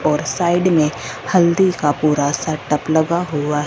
और साइड में हल्दी का पूरा सेटअप लगा हुआ --